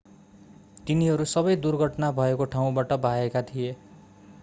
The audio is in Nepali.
तिनीहरू सबै दुर्घटना भएको ठाउँबाट भागेका थिए